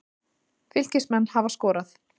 Fylkismenn hafa skorað.